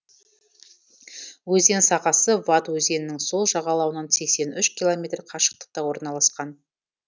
өзен сағасы вад өзенінің сол жағалауынан сексен үш километр қашықтықта орналасқан